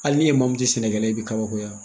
Hali n'i e maa min tɛ sɛnɛkɛla ye, i bɛ kabakoya.